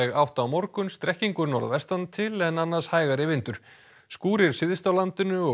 átt á morgun strekkingur norðvestan til en annars hægari vindur skúrir syðst á landinu og